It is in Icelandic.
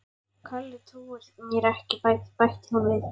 Kalli trúir mér ekki bætti hún við.